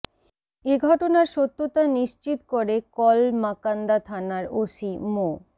এ ঘটনার সত্যতা নিশ্চিত করে কলমাকান্দা থানার ওসি মো